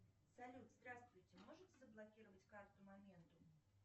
салют здравствуйте можете заблокировать карту моментум